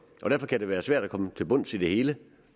og derfor kan det være svært at komme til bunds i det hele